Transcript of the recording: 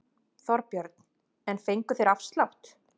Þorbjörn: En fengu þeir afslátt?